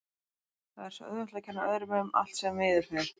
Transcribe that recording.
Það er svo auðvelt að kenna öðrum um allt sem miður fer.